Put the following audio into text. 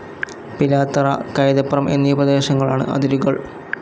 പിലാത്തറ, കൈതപ്രം എന്നീ പ്രേദേശങ്ങളാണ് അതിരുകൾ